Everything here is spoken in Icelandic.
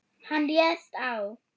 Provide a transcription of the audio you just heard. Hann réðst á